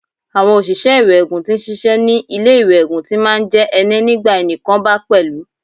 Àwọn oṣìṣẹ́ iwẹ́ẹ̀gùn tí ń ṣiṣẹ́ ní ilé iwẹ́ẹ̀gùn ti máa ń jẹ́ ẹnẹ́ nígbà ẹni kan bá pẹ́lú.